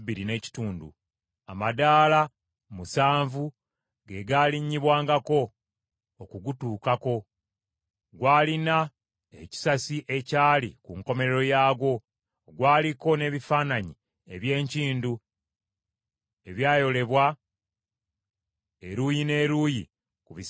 Amadaala musanvu ge gaalinnyibwangako okugutuukako. Gwalina ekisasi ekyali ku nkomerero yaagwo. Gwaliko n’ebifaananyi eby’enkindu ebyayolebwa eruuyi n’eruuyi ku bisenge byagwo.